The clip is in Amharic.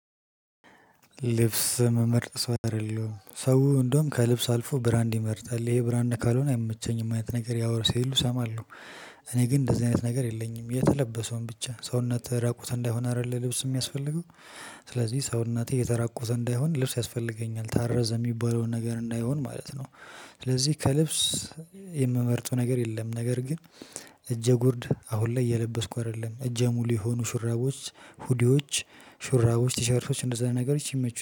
ልብስ ምመርጥ ሰው አይደለሁም። ሰው እንደውም ከልብስ አልፎ ብራንድ ይመርጣል። ይሄ ብራንድ ካልሆነ አይቸኝም አይነት ነገር ያወራል ሲሉ እሰማለሁ። እኔ ግን እንደዚህ አይነት ነገር የለኝም። የተለበሰውን ብቻ ሰውነትህ ራቁት እንዳልሆነ አይደለ ልብስ የሚያስፈልገው? ስለዚህ ሰውነት የተራቆተ እንዳይሆን ልብስ ያስፈልገኛል። ታረዘ የሚባለውን ነገር እንዳይሆን ማለት ነው። ስለዚህ ከልብስ የምመርጠው ነገር የለም። ነገር ግን እጀጉርድ አሁን ላይ እየለበስኩ አይደለም። ጨ እጄ ሙሉ የሆኑ ሹራቦች ሁዲዎች፣ ሹራቦች፣ ቲሸርፎች እንደዛ ነገሮች ይመቹኛል።